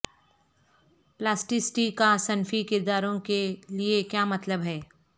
plasticity کا صنفی کرداروں کے لیے کیا مطلب ہے